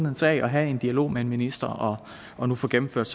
en sag og have en dialog med en minister og og nu få gennemført